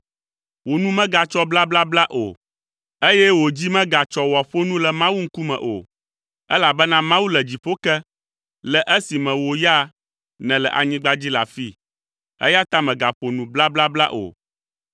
Wò nu megatsɔ blablabla o, eye wò dzi megatsɔ ne wòaƒo nu le Mawu ŋkume o, elabena Mawu le dziƒo ke, le esime wò ya nèle anyigba dzi le afii eya ta mègaƒo nu blablabla o.